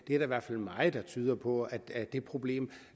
er i hvert fald meget der tyder på at det problem